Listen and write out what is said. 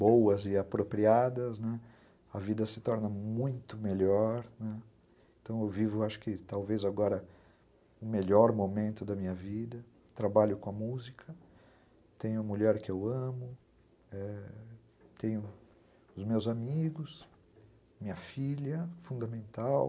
boas e apropriadas, a vida se torna muito melhor, então eu vivo acho que talvez agora o melhor momento da minha vida, trabalho com a música, tenho a mulher que eu amo, ãh, tenho os meus amigos, minha filha fundamental,